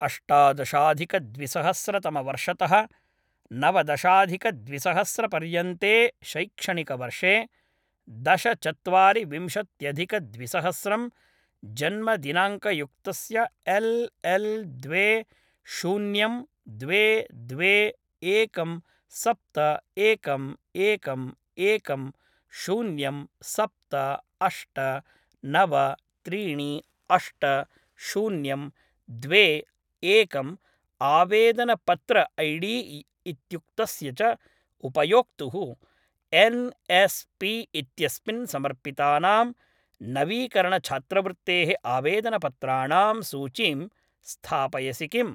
अष्टादशाधिकद्विसहस्रतमवर्षतः नवदशाधिकद्विसहस्रपर्यन्ते शैक्षणिकवर्षे दश चत्वारि विंशत्यधिकद्विसहस्रं जन्मदिनाङ्कयुक्तस्य एल् एल् द्वे शून्यं द्वे द्वे एकं सप्त एकम् एकम् एकम् शून्यं सप्त अष्ट नव त्रीणि अष्ट शून्यं द्वे एकम् आवेदनपत्र ऐडी इत्युक्तस्य च उपयोक्तुः एन् एस् पी इत्यस्मिन् समर्पितानां नवीकरणछात्रवृत्तेः आवेदनपत्राणां सूचीं स्थापयसि किम्?